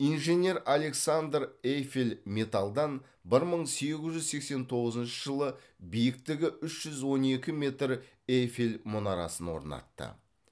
инженер александр эйфель металдан бір мың сегіз жүз сексен тоғызыншы жылы биіктігі үш жүз он екі метр эйфель мұнарасын орнатты